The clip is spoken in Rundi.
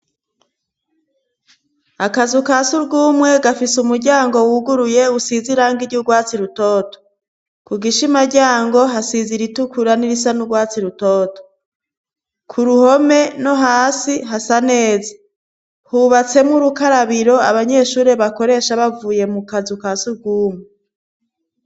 Akazi ukasi urw'umwe gafise umuryango wuguruye usiz irange iryo urwatsi rutoto ku gishimaryango hasiza iritukura n'irisa n'urwatsi lutoto ku ruhome no hasi hasa neza hubatsemwo urukarabiro abanyeshurire bakoresha bavuye mu kazi ukau si ugumu.